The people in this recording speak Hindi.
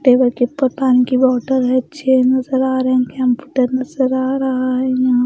टेबल के ऊपर पानी की बॉटल है चेयर नजर आ रहे हैं कंप्यूटर नजर आ रहा है यहां--